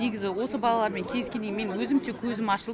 негізі осы балалармен кездескеннен кейін менің өзім те көзім ашылып